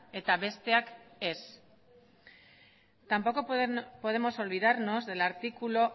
eta besteak ez tampoco podemos olvidarnos del artículo